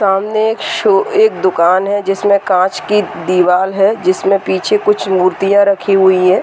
सामने एक शो एक दुकान है जिसमें कांच की दीवाल है जिसमें पीछे कुछ मूर्तियां रखी हुई हैं।